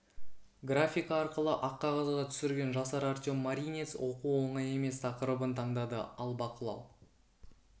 графика арқылы ақ қағазға түсірген жасар артем маринец оқу оңай емес тақырыбын таңдады ал бақылау